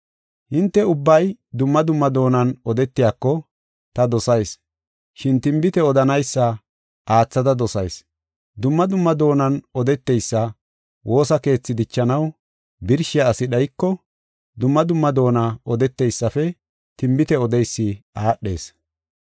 Hinte ubbay dumma dumma doonan odetiyako ta dosayis, shin tinbite odanaysa aathada dosayis. Dumma dumma doonan odeteysa woosa keethi dichanaw birshiya asi dhayiko, dumma dumma doona odeteysafe tinbite odeysi aadhees.